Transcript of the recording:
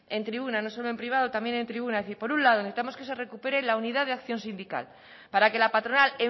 en tribuna no solo en privado también en privado es decir por un lado necesitamos que se recupere la unidad de acción sindical para que la patronal